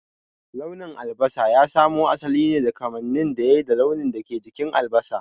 Launin albasa ya samo asali ne daga kamanin da yai da launin da ke jikin albasa.